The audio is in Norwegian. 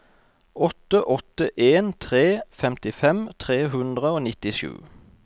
åtte åtte en tre femtifem tre hundre og nittisju